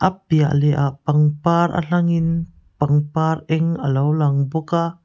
a piah leh ah pangpar a hlangin pangpar eng alo lang bawk a.